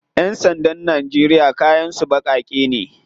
Yan sandan Najeriya kayan su bakake ne.